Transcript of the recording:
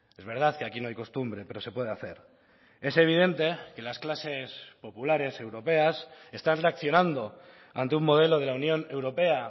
es verdad que aquí no hay costumbre pero se puede hacer es evidente que las clases populares europeas están reaccionando ante un modelo de la unión europea